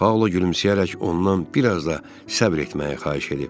Paula gülümsəyərək ondan bir az da səbr etməyi xahiş edib.